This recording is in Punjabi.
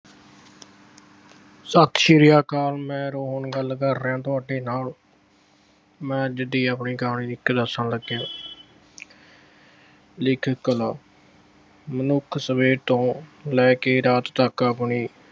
ਸਤਿ ਸ਼੍ਰੀ ਅਕਾਲ, ਮੈਂ ਰੋਹਨ ਗੱਲ ਕਰ ਰਿਹਾਂ ਹਾਂ ਤੁਹਾਡੇ ਨਾਲ। ਮੈਂ ਅੱਜ ਦੀ ਆਪਣੀ ਕਹਾਣੀ ਲਿਖ ਕੇ ਦੱਸਣ ਲੱਗਿਆਂ ਲੇਖਕ ਕਲਾ। ਮਨੁੱਖ ਸਵੇਰ ਤੋਂ ਲੈ ਕੇ ਰਾਤ ਤੱਕ ਆਪਣੀ